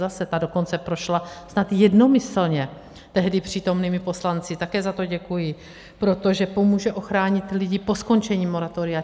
Zase, ta dokonce prošla tak jednomyslně tehdy přítomnými poslanci, také za to děkuji, protože pomůže ochránit lidi po skončení moratoria.